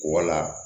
Wala